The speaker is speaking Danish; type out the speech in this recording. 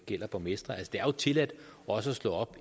gælder borgmestre det er jo tilladt også at slå